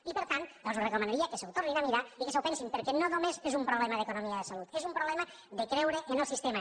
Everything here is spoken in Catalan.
i per tant els recomanaria que s’ho tornin a mirar i que s’ho pensin perquè no només és un problema d’economia de salut és un problema de creure en el sistema